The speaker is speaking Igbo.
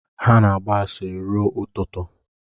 Ha na-agba asịrị ruo ụtụtụ